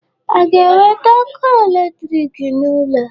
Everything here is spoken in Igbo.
A ga-ewete ọkụ electric n'ụlọ?